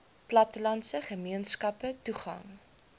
plattelandse gemeenskappe toegang